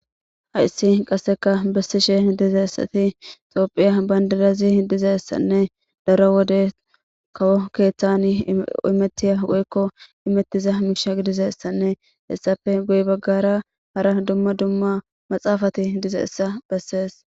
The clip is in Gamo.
Hayis qasseka besishe dizayis tophiya banidirayi dizayisane daro wode kawo imetiya imetiza misha gidishin hessape guye bagarra duma duma maxafati dizayisa besses